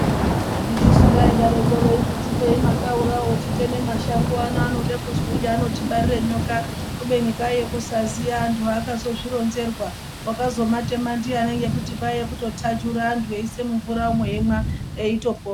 Handitisu vaidarokwo veiti tipei makaurawo titeme mashango ano anode kuzvinyi anotibarire nyoka kubeni kwaiye kusaziya anthu akazozvironzerwa wakazomatema ndiyani ngekuti kwaiye kutotajura anthu eise mumvura antu eimwa eitopona.